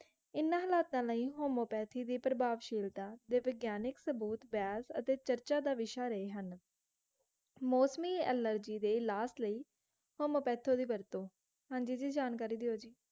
ਇਹਨਾਂ ਹਲਾਤਾਂ ਲਈ homeopathy ਦੀ ਪ੍ਰਭਾਵਸ਼ੀਲਤਾ ਦੇ ਵਿਗਿਆਨਿਕ ਸਬੂਤ ਬਹਿਸ ਅਤੇ ਚਰਚਾ ਦਾ ਵਿਸ਼ੇ ਰਹੇ ਹਨ ਮੌਸਮੀ allergy ਦੇ ਇਲਾਜ ਲਈ homeopathy ਦੀ ਵਰਤੋਂ ਹਾਂਜੀ ਜੀ, ਜਾਣਕਾਰੀ ਦਿਓ ਜੀ